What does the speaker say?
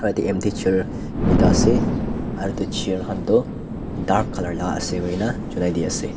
right teh khali chair tuita ase aro itu chair khan tu dark colour la ase kuina junaidi ase.